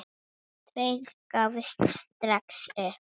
Tveir gáfust strax upp.